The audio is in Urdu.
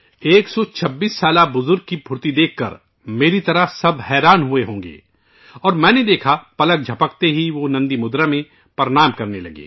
126 سال کے بزرگ کی پھرتی دیکھ کر میری طرح ہر کوئی حیران رہ گیا ہو گا اور میں نے دیکھا کہ پلک جھپکتے ہی وہ نندی مدرا میں پرنام کرنے لگے